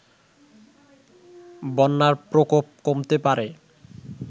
বন্যার প্রকোপ কমতে পারে